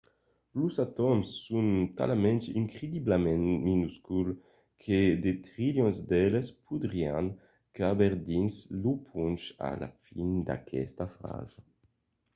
los atòms son talament incrediblament minusculs que de trilions d’eles podrián caber dins lo ponch a la fin d’aquesta frasa